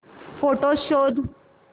photos शोध